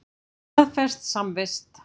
Staðfest samvist.